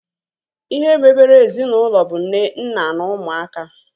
Ihe mebere ezinaụlọ bụ nne, nna na ụmụaka